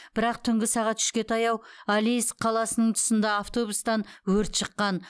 бірақ түнгі сағат үшке таяу алейск қаласының тұсында автобустан өрт шыққан